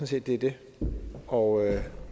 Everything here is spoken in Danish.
set det er det og